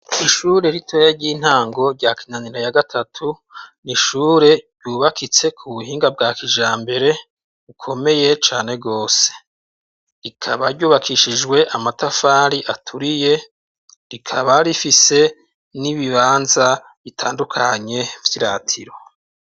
Ishure ritoya ry'intango rya Kinanira ya gatatu, ni ishure ryubakitse ku buhinga bwa kijambere bukomeye cane gose. Rikaba ryubakishijwe amatafari aturiye, rikaba rifise n'ibibanza bitandukanye vy'iratiro.